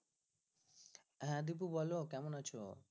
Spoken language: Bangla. হ্যাঁ দীপু বলো কেমন আছো?